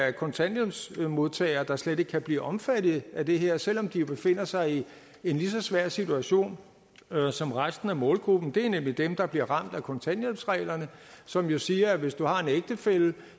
af kontanthjælpsmodtagere der slet ikke kan blive omfattet af det her selv om de befinder sig i en lige så svær situation som resten af målgruppen det er nemlig dem der bliver ramt af kontanthjælpsreglerne som jo siger at hvis du har en ægtefælle